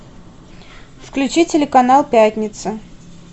включи телеканал пятница